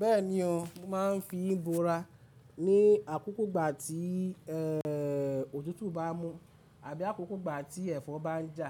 Bẹ́ẹ̀ni o, màá ń fi búra ní àkókò gbà tí ọ̀tútù bá mú àbí àkókò gbà tí ẹ̀fọ́ bá ń jà